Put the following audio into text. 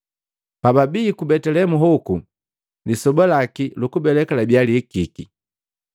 Pababi ku Betelehemu hoku, lisoba laki lukubeleka labiya lihikiki.